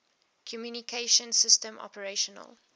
communication systems operational